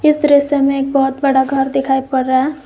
इस दृश्य में एक बहुत बड़ा घर दिखाई पड़ रहा है।